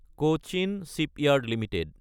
Cochin shipyard Ltd